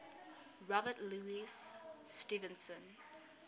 robert louis stevenson